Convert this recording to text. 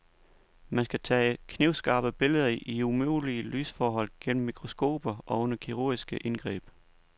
Man skal tage knivskarpe billeder i umulige lysforhold gennem mikroskoper og under kirurgiske indgreb.